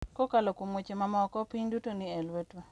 Kokalo kuom weche mamoko, piny duto ni e lwetwa .